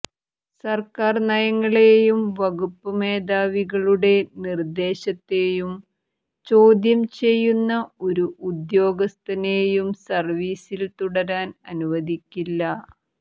സർക്കാർ നയങ്ങളെയും വകുപ്പ് മേധാവികളുടെ നിർദ്ദേശത്തെയും ചോദ്യം ചെയ്യുന്ന ഒരു ഉദ്യോഗസ്ഥനെയും സർവീസിൽ തുടരാൻ അനുവദിക്കില്ല